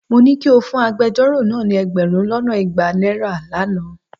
Mo ní kí o fún agbejọ́rò náà ní ẹgbẹ̀rún lọ́nà igba náírà lánàá.